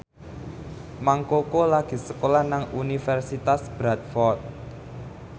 Mang Koko lagi sekolah nang Universitas Bradford